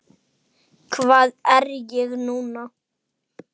Hvað er ég núna?